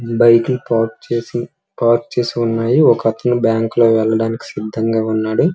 Bike park చేసి park చేసి ఉన్నాయి. ఒకతను బ్యాంకు లోకి వెళ్లడానికి సిద్ధంగా ఉన్నాడు.